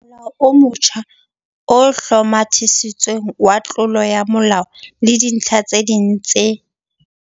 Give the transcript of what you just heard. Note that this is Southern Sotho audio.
Molao o motjha o Hlomathisitsweng wa Tlolo ya molao le Dintlha tse ding tse